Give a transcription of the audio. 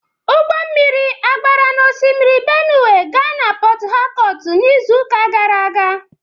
Ụgbọ mmiri a gbara n'osimiri Benue gaa Port Harcourt n'izuụka gara aga